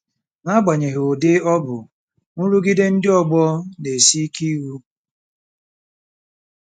N'agbanyeghị ụdị ọ bụ, nrụgide ndị ọgbọ na-esi ike ihu.